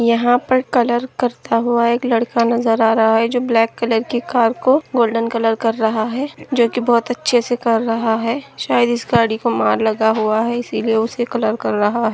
यहाँ पर कलर करता हुआ एक लड़का नजर आ रहा है। जो ब्लेक कलर की कर को गोल्डन कलर कर रहा है जो की बहुत अच्छे से कर रहा है शायद इस गाड़ी को मार लगा हुआ है इसी लिए उसे कलर कर रहा है।